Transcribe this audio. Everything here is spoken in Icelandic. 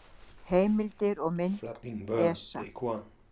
Heimildir og mynd: ESA.